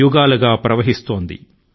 గల గల మనే గంగా నది అల లు ఏమంటున్నాయి